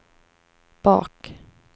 bak